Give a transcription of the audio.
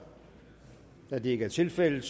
da det ikke er tilfældet